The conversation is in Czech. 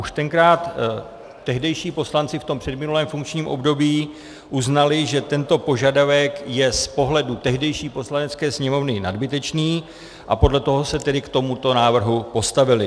Už tenkrát tehdejší poslanci v tom předminulém funkčním období uznali, že tento požadavek je z pohledu tehdejší Poslanecké sněmovny nadbytečný, a podle toho se tedy k tomuto návrhu postavili.